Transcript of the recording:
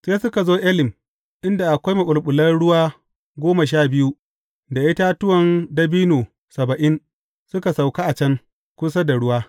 Sai suka zo Elim inda akwai maɓulɓulan ruwa goma sha biyu da itatuwan dabino saba’in, suka sauka a can, kusa da ruwa.